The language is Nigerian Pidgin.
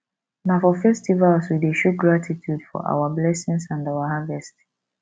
na for festivals we dey show gratitude for our blessings and harvest